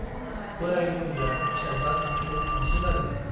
बोराय बुरैया फिसाज्ला सानैखौ अनसोगारोमोन ।